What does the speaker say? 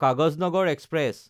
Kaghaznagar express